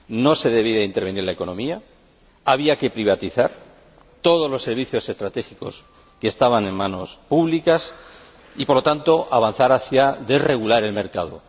No se debía intervenir la economía, había que privatizar todos los servicios estratégicos que estaban en manos públicas y, por lo tanto, avanzar hacia desregular el mercado.